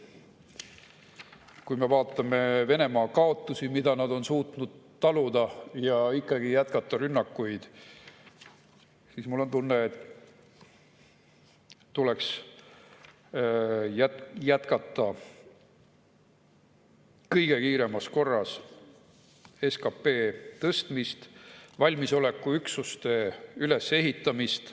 Kui me vaatame Venemaa kaotusi, mida nad on suutnud taluda, ja ikkagi jätkata rünnakuid, siis mul on tunne, et tuleks jätkata kõige kiiremas korras SKP tõstmist, valmisolekuüksuste ülesehitamist.